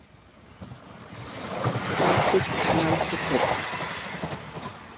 Kvaldist sem aldrei fyrr.